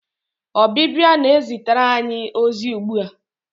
Ọbịbịa na-ezitere anyị ozi ugbu a.